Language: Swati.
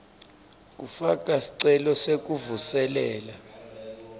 kufaka sicelo sekuvuselela